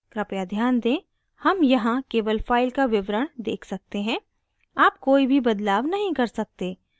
कृपया ध्यान दें: हम यहाँ केवल file का विवरण देख सकते हैं आप कोई भी बदलाव नहीं कर सकते